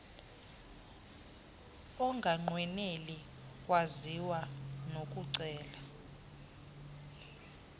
onganqweneli kwaziwa unokucela